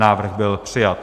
Návrh byl přijat.